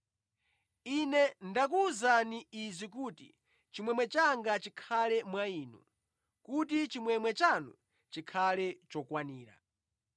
Ine ndakuwuzani izi kuti chimwemwe changa chikhale mwa Inu, kuti chimwemwe chanu chikhale chokwanira.